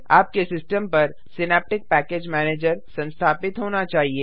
आपके सिस्टम पर Synaptic package manager संस्थापित होना चाहिए